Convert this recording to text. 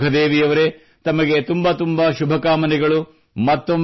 ಸರಿ ಸುಖದೇವಿ ಅವರೇ ತಮಗೆ ತುಂಬ ಶುಭಕಾಮನೆಗಳು